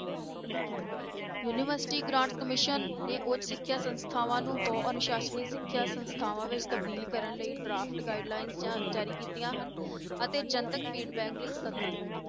University grant commission ਨੇ ਉੱਚ ਸਿੱਖਿਆ ਸੰਸਥਾਵਾਂ ਨੂੰ ਬਹੁ ਅਨੁਸਾਸਨੀ ਸਿੱਖਿਆ ਸੰਸਥਾਵਾਂ ਵਿੱਚ ਤਬਦੀਲ ਕਰਨ ਲਈ draft guidelines ਜਾ~ ਜਾਰੀ ਕੀਤੀਆਂ ਹਨ ਅਤੇ ਜਨਤਕ feedback ਲਈ ਸੱਦਾ ਦਿੱਤਾ।